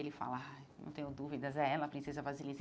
Ele fala, ai não tenho dúvidas, é ela, a princesa Vasilisa.